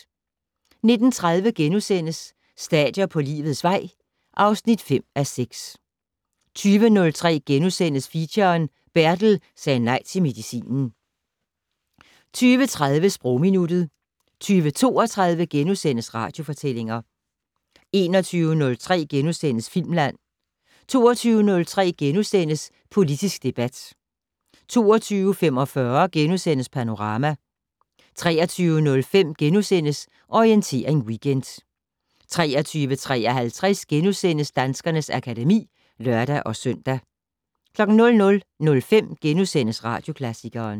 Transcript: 19:30: Stadier på livets vej (5:6)* 20:03: Feature: Bertel sagde nej til medicinen * 20:30: Sprogminuttet 20:32: Radiofortællinger * 21:03: Filmland * 22:03: Politisk debat * 22:45: Panorama * 23:05: Orientering Weekend * 23:53: Danskernes akademi *(lør-søn) 00:05: Radioklassikeren *